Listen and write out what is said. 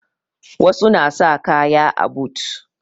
Wasu na sa kaya a but